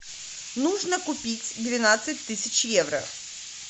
нужно купить двенадцать тысяч евро